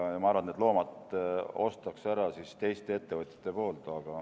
Ma arvan, et need loomad ostetakse ära teiste ettevõtjate poolt.